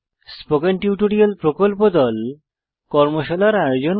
spoken tutorial প্রকল্প দল কর্মশালার আয়োজন করে